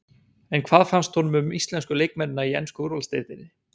En hvað finnst honum um íslensku leikmennina í ensku úrvalsdeildinni?